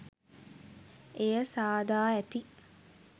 එය සාදා ඇති